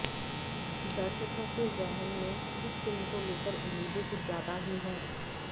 दर्शकों के जेहन में इस फिल्म को लेकर उम्मीदें कुछ ज्यादा ही हैं